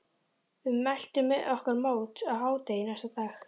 Við mæltum okkur mót á hádegi næsta dag.